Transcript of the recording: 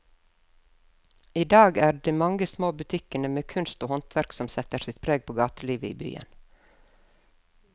I dag er det de mange små butikkene med kunst og håndverk som setter sitt preg på gatelivet i byen.